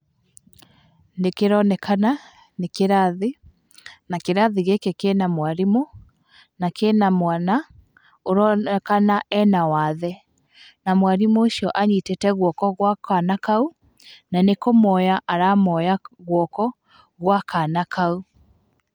Nĩ kĩronekana, nĩ kĩrathi, na kĩrathi gĩkĩ kĩna mwarimũ, na kĩna mwana, ũronekana ena wathe, na mwarimũ ũcio anyitĩte guoko gwa kana kau, na nĩ kũmoya aramoya guoko, gwa kana kau.